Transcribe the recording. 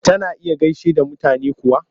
Tana iya gaishe da mutane kuwa?